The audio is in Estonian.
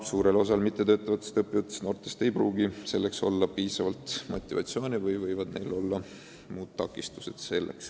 Suurel osal mittetöötavatest ja mitteõppivatest noortest ei pruugi selleks olla piisavalt motivatsiooni või võivad neil selleks olla muud takistused.